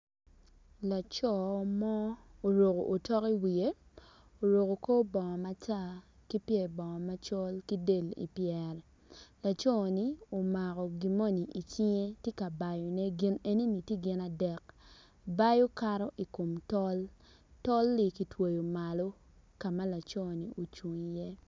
Laco mo oruko otok wiye oruko kor bongo matar ki pyer bongo macol ki del i pyere laco ni omako gin moni tye ka bayone gin enoni tye gin adek bayo kato i kom tol.